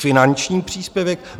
Finanční příspěvek.